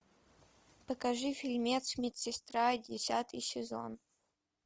покажи фильмец медсестра десятый сезон